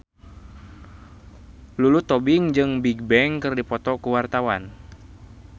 Lulu Tobing jeung Bigbang keur dipoto ku wartawan